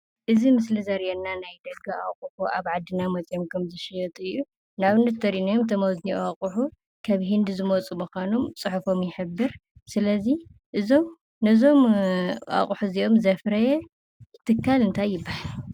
እዚ ምስሊ እዚ ዘሪኢና ናይ ደገ አቁሑ አብ ዓድና መፅዮም ኸም ዝሽየጡ እዩ፡፡ ንአብነት እንተሪኢናዮም እቶም አብዚ ዝኒዉ አቁሑ ካብ ህንዲ ዝመፁ ሙዃኖም ፁሑፎም ይሕብር ስለዚ እዞም ነዞም አቁሑ እዚኦም ዘፍረየ ትካል እንታይ ይበሃል?